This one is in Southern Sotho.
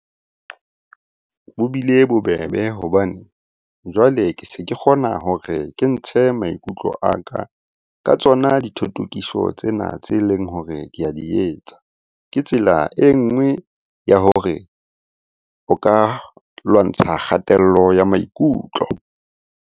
Bo bile bobebe hobane jwale ke se ke kgona hore ke ntshe maikutlo a ka ka tsona dithotokiso tsena tse leng hore ke a di etsa. Ke tsela e nngwe ya hore o ka lwantsha kgatello ya maikutlo.